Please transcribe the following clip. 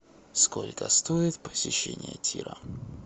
сколько стоит посещение тира